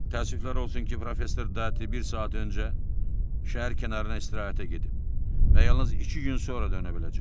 Təəssüflər olsun ki, professor Dati bir saat öncə şəhər kənarına istirahətə gedib və yalnız iki gün sonra dönə biləcək.